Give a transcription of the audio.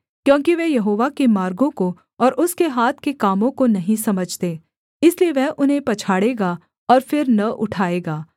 क्योंकि वे यहोवा के मार्गों को और उसके हाथ के कामों को नहीं समझते इसलिए वह उन्हें पछाड़ेगा और फिर न उठाएगा